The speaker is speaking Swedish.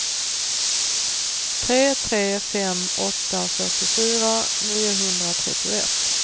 tre tre fem åtta fyrtiofyra niohundratrettioett